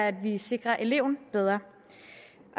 at vi sikrer eleven bedre